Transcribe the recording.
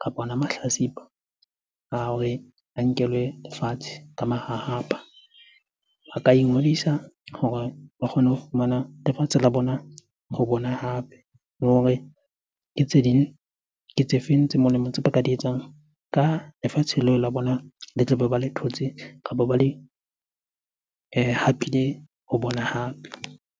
kapa ona mahlatsipa a hore a nkelwe lefatshe ka mahahapa. Ba ka ingodisa hore ba kgone ho fumana lefatshe la bona ho bona hape. Le hore ke tse ding, ke tse feng tse molemo tse ba ka di etsang ka lefatshe leo la bona le tlabe ba le thotse kapo ba le hapile ho bona hape?